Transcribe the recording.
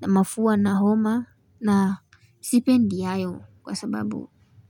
na mafua na homa na Sipendi hayo kwa sababu.